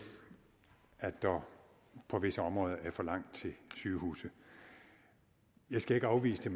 at der på visse områder er for langt til sygehuse jeg skal ikke afvise